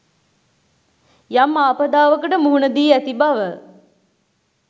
යම් ආපදාවකට මුහුණ දී ඇති බව